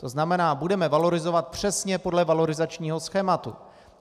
To znamená, budeme valorizovat přesně podle valorizačního schématu.